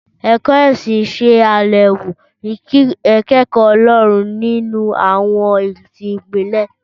Ẹ̀kọ́ ìsìn ṣe àyẹ̀wò ìkẹ́kọ̀ọ́ Ọlọ́run nínú àwọn ẹ̀sìn ìbílẹ̀.